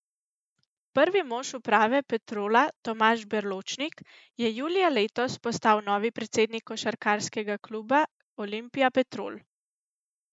Prvi mož uprave Petrola Tomaž Berločnik je julija letos postal novi predsednik košarkarskega kluba Olimpija Petrol.